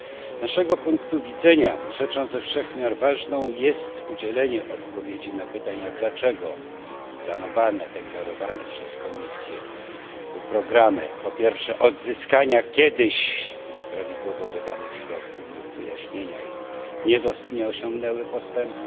Z naszego punktu widzenia rzeczą ze wszech miar ważną jest udzielenie odpowiedzi na pytania, dlaczego planowane, deklarowane przez Komisję programy po pierwsze odzyskania kiedyś nieprawidłowo wydanych środków lub wyjaśnienia nie osiągnęły postępu.